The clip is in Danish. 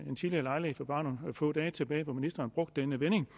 en tidligere lejlighed bare nogle få dage tilbage at ministeren brugte den vending